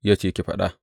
Ya ce, Ki faɗa.